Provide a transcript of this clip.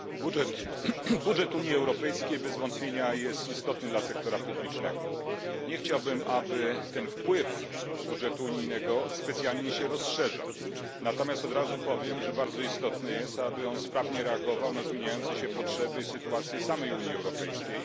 Panie Przewodniczący! Budżet Unii Europejskiej bez wątpienia jest istotny dla sektora publicznego. Nie chciałbym, aby ten wpływ budżetu unijnego specjalnie się rozszerzał. Od razu powiem natomiast, że bardzo istotne jest, aby budżet sprawnie reagował na zmieniające się potrzeby i sytuację samej Unii Europejskiej.